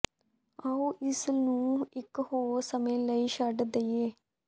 ਆਓ ਇਸ ਨੂੰ ਇਕ ਹੋਰ ਸਮੇਂ ਲਈ ਛੱਡ ਦੇਈਏ